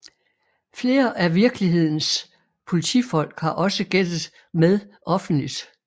Flere af virkelighedens politifolk har også gættet med offentligt